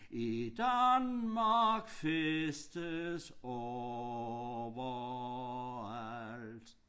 I Danmark festes overalt